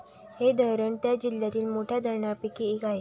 हे धरण त्या जिल्ह्यातील मोठ्या धरणांपैकी एक आहे.